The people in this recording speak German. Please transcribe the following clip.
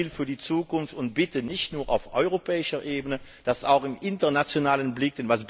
Das gilt für die Zukunft und bitte nicht nur auf europäischer Ebene, sondern auch im internationalen Umfeld.